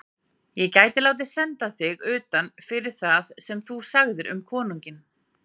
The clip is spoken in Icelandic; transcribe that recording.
Ég gæti látið senda þig utan fyrir það sem þú sagðir um konunginn.